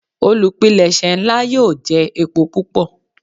Olupilẹṣẹ nla yoo jẹ epo pupọ.